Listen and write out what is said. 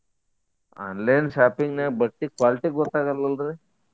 Online shopping ನ್ಯಾಗ ಬಟ್ಟಿ quality ಗೊತ್ತಾಗ್ಗ್ವಲ್ರಿ.